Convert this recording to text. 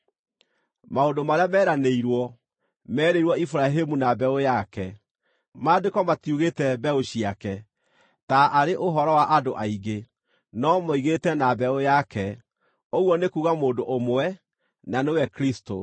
Maũndũ marĩa meranĩirwo, meerĩirwo Iburahĩmu na mbeũ yake. Maandĩko matiugĩte “mbeũ ciake”, taarĩ ũhoro wa andũ aingĩ, no moigĩte “na mbeũ yake”, ũguo nĩ kuuga mũndũ ũmwe, na nĩwe Kristũ.